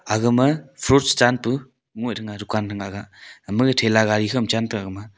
agma fruits chanpu ngoih thega dukaan thega ama gag thela gari kho ma chan taga gama a.